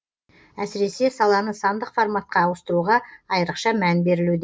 әсіресе саланы сандық форматқа ауыстыруға айрықша мән берілуде